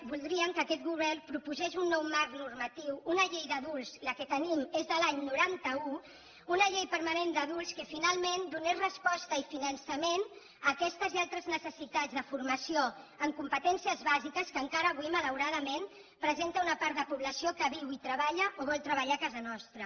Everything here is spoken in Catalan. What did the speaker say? voldríem que aquest govern proposés un nou marc normatiu una llei d’adults la que tenim és de l’any noranta un una llei permanent d’adults que finalment donés resposta i finançament a aquestes i altres necessitats de formació en competències bàsiques que encara avui malauradament presenta una part de població que viu i treballa o vol treballar a casa nostra